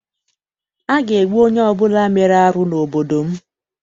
A ga-egbu onye ọbụla mere arụ n'obodo m.